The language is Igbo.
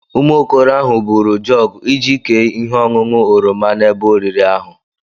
Ụmụ okoro ahụ buru jọgu iji kē ihe ọṅụṅụ oroma na ébé oriri ahụ